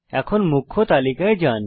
এখন মুখ্য তালিকায় যান